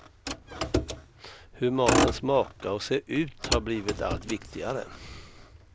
Hur maten smakar och ser ut har blivit allt viktigare.